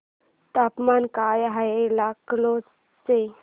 तापमान काय आहे लखनौ चे